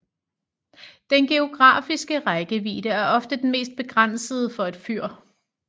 Den geografiske rækkevidde er ofte den mest begrænsende for et fyr